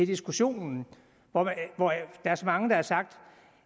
diskussionen hvor der er så mange der har sagt